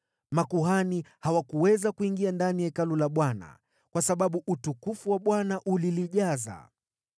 Makuhani hawakuweza kuingia ndani ya Hekalu la Bwana kwa sababu utukufu wa Bwana ulilijaza.